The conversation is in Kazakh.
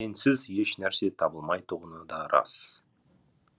сенсіз ешнәрсе табылмайтұғыны да рас